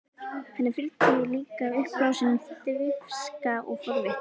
Henni fylgdi líka uppblásin dirfska og forvitni.